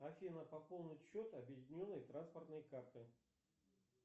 афина пополнить счет объединенной транспортной карты